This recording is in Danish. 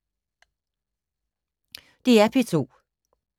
DR P2